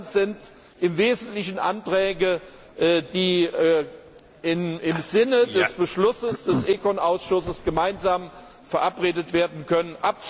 war. Die anderen sind im Wesentlichen Anträge, die im Sinne des Beschlusses des ECON Ausschusses gemeinsam verabredet